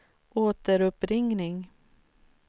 återuppringning